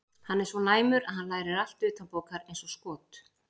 Hann er svo næmur að hann lærir allt utanbókar eins og skot.